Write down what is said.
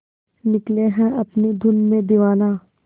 निकले है अपनी धुन में दीवाना